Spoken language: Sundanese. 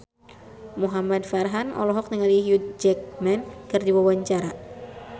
Muhamad Farhan olohok ningali Hugh Jackman keur diwawancara